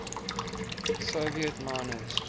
soviet miners